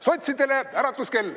Sotsidele äratuskell.